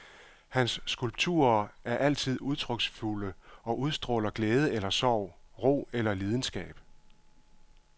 Hans skulpturer er altid udtryksfulde og udstråler glæde eller sorg, ro eller lidenskab.